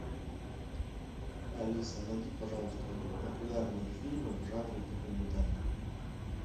алиса найди пожалуйста популярные фильмы в жанре документальный